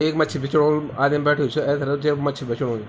ऐक मच्छी बिचण वालु आदिम बैठयू च एथर जेक मच्छी बिचणू यू ।